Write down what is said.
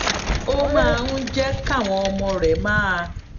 ó máa ń jé káwọn ọmọ rè máa